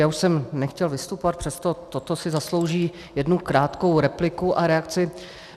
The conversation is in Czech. Já už jsem nechtěl vystupovat, přesto toto si zaslouží jednu krátkou repliku a reakci.